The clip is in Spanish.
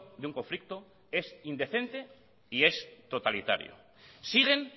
de un conflicto es indecente y es totalitario siguen